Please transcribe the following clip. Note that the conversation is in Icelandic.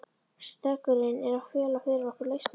Steggurinn er að fela fyrir okkur lausnina.